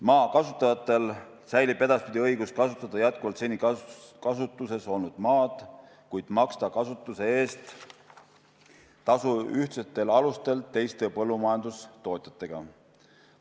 Maa kasutajatel säilib edaspidi õigus kasutada jätkuvalt seni kasutuses olnud maad, kuid nad saavad maksta kasutuse eest tasu ühtlastel alustel teiste põllumajandustootjatega.